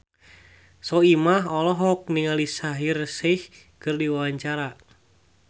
Soimah olohok ningali Shaheer Sheikh keur diwawancara